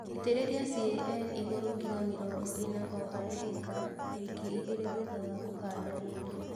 Itĩrĩlia CAN igũru kilo mĩrongo ĩna o harĩ ĩka wiki igĩli thutha wa kũhanda rĩngĩ